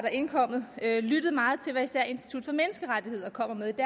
er indkommet lyttet meget til hvad især institut for menneskerettigheder er kommet